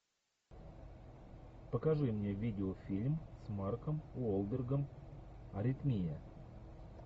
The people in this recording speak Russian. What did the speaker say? покажи мне видеофильм с марком уолбергом аритмия